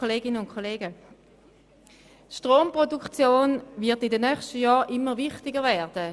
Die Stromproduktion wird in den kommenden Jahren immer wichtiger werden.